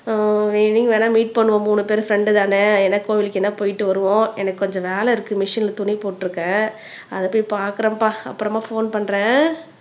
evening வேணா meet பண்ணுவோம் மூணு பேரும் ஃப்ரண்டு தானே போயிட்டு வருவோம் எனக்கு கொஞ்சம் வேலை இருக்கு மிஷின்ல துணி போட்டு இருக்கேன் அத போய் பாக்குறேன்பா அப்புறமா போன் பண்றேன்